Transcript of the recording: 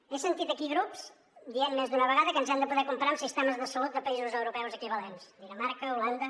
he sentit aquí grups dient més d’una vegada que ens hem de poder comparar amb sistemes de salut de països europeus equivalents dinamarca holanda